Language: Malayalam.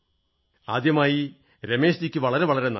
ആദ്യമായി രമേശ്ജിയ്ക്ക് വളരെ വളരെ നന്ദി